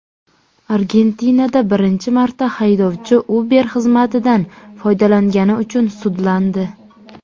Argentinada birinchi marta haydovchi Uber xizmatidan foydalangani uchun sudlandi.